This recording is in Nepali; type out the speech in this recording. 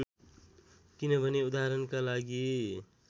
किनभने उदाहरणका लागि